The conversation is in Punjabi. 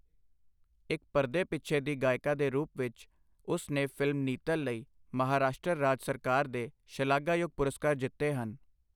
ਇੱਕ ਪਰਦੇ ਪਿੱਛੇ ਦੀ ਗਾਇਕਾ ਦੇ ਰੂਪ ਵਿੱਚ, ਉਸ ਨੇ ਫ਼ਿਲਮ ਨੀਤਲ ਲਈ ਮਹਾਰਾਸ਼ਟਰ ਰਾਜ ਸਰਕਾਰ ਦੇ ਸ਼ਲਾਘਾਯੋਗ ਪੁਰਸਕਾਰ ਜਿੱਤੇ ਹਨ।